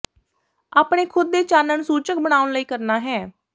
ਆਪਣੇ ਖੁਦ ਦੇ ਚਾਨਣ ਸੂਚਕ ਬਣਾਉਣ ਲਈ ਕਰਨਾ ਹੈ